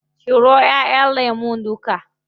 Cire ƙullon lemun duka.